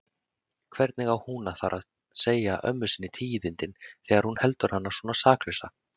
Hvernig á hún að fara að segja ömmu tíðindin þegar hún heldur hana svona saklausa?